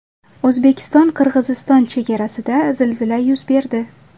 O‘zbekistonQirg‘iziston chegarasida zilzila yuz berdi.